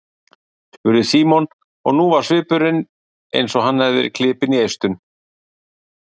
spurði Símon og nú var svipurinn eins og hann hefði verið klipinn í eistun.